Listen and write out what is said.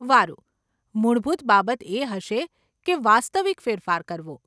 વારુ, મૂળભૂત બાબત એ હશે કે વાસ્તવિક ફેરફાર કરવો.